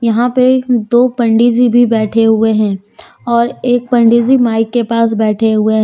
यहां पे दो पंडी जी भी बैठे हुए हैं और एक पंडी जी माइक के पास बैठे हुए हैं।